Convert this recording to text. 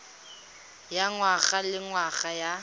ya ngwaga le ngwaga ya